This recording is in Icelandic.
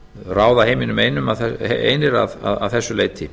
ráða heiminum einir að þessu leyti